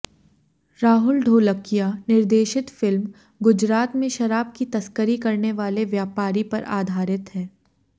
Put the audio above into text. राहुल ढोलकिया निर्देशित फिल्म गुजरात में शराब की तस्करी करने वाले व्यापारी पर आधारित है